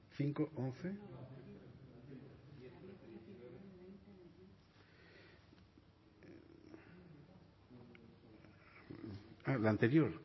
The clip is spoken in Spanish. cinco hamaika ah la anterior